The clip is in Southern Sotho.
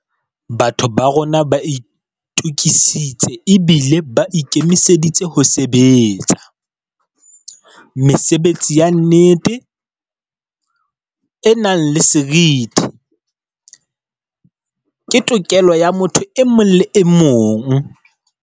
Batho ba rona ba itukisitse ebile ba ikemiseditse ho sebe tsa. Mesebetsi ya nnete, e nang le seriti, ke tokelo ya motho e mong le emong.